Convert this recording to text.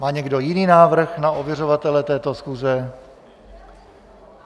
Má někdo jiný návrh na ověřovatele této schůze?